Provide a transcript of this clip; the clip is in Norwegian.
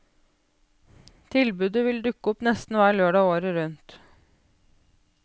Tilbudet vil dukke opp nesten hver lørdag året rundt.